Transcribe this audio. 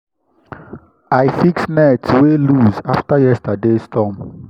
i fix net wey loose after yesterday’s storm.